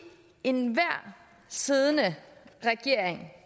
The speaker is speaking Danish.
enhver siddende regering